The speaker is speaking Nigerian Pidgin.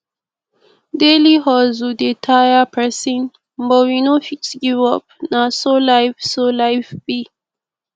daily hustle dey tire pesin but we no fit give up na so life so life be